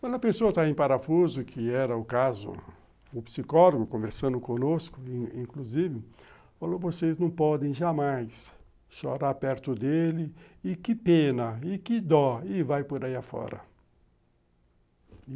Quando a pessoa está em parafuso, que era o caso, o psicólogo, conversando conosco, inclusive, falou, vocês não podem jamais chorar perto dele, e que pena, e que dó, e vai por aí afora.